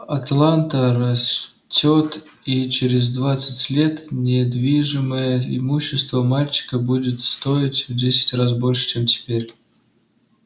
атланта растёт и через двадцать лет недвижимое имущество мальчика будет стоить в десять раз больше чем теперь